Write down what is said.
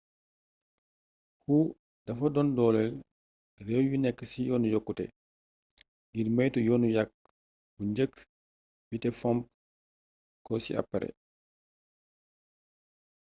hu dafa doon dooleel réew yu nekk ci yoonu yokkute ngir moytu yoonu yaq bu njëkk bi te fomp ko ci apare